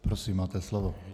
Prosím, máte slovo.